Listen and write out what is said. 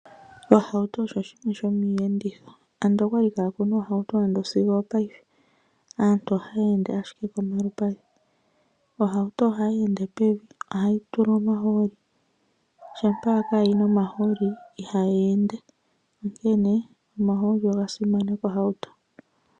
Oohauto osho oshinima sho miiyenditho ando okwali kakuna Oohauto ando sigo opayife aantu ohaya ende owala kolupadhi . Ohauto ohayi ende pevi . Ohayi tulwa omahooli ,shampa kayina omahooli ihayi ende onkene omahooli oga simana kohauto.